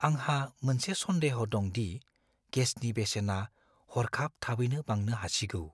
आंहा मोनसे सन्देह दं दि गेसनि बेसेना हरखाब थाबैनो बांनो हासिगौ।